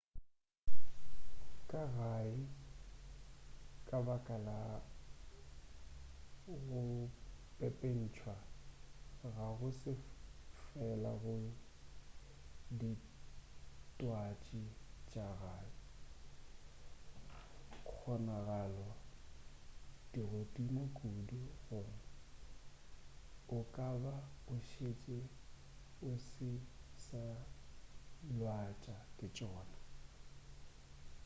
ka gae ka baka la go pepentšwa ga go se fela go ditwatši tša gae kgonagalo di godimo kudu gore o ka ba o šetše o se sa lwatša ke tšona